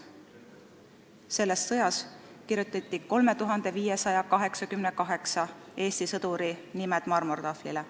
Selles sõjas kirjutati 3588 Eesti sõduri nimi marmortahvlile.